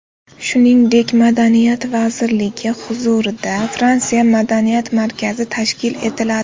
Shuningdek, Madaniyat vazirligi huzurida Fransiya madaniyat markazi tashkil etiladi.